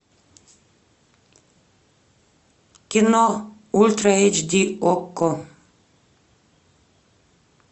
кино ультра эйч ди окко